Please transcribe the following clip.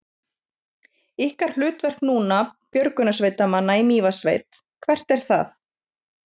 Ykkar hlutverk núna, björgunarsveitarmanna í Mývatnssveit, hvert er það?